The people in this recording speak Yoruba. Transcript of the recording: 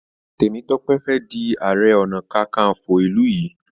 Temitope Fè dì aré ọnà kankanfo ilú yí.